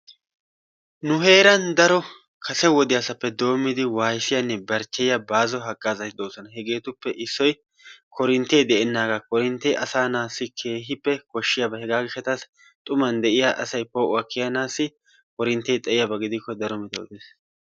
Nu heeran daro kase wodiyasappe doommidi wayissiyanne barcheyiya baaso hagazati de'oosona. Hegeetuppe issoy korintee de'enaaga korinte asaa natussi keehippe koshiyaba hegaa gishawu xuman de'iya asay poo'uwa kiyanaassi korintee xayiyaba gidikko daro metoy de'ees.